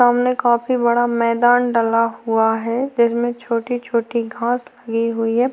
सामने काफी बड़ा मैदान डला हुआ है जिसमे छोटी-छोटी घास लगी हुई है।